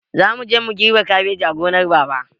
Zamuje mu girbe kabeji a gonar babana